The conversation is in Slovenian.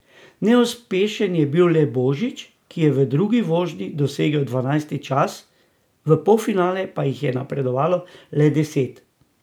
Neuspešen je bil le Božič, ki je v drugi vožnji dosegel dvanajsti čas, v polfinale pa jih je napredovalo le deset.